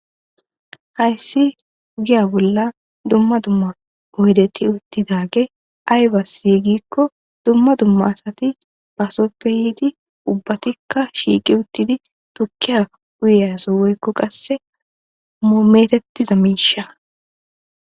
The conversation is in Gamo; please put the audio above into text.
hayssi ogiya bolla dumma dumma oydeti uttidage aybasi gikko dumma dumma asati baasoppe yiidi ubbatikka shiiqi uttidi tukkiya uyiyaso woykko qasse metettiza miishaykka bettes